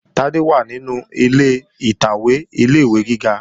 Tádé wà nínú ilé ìtàwé ilé-ìwé gíga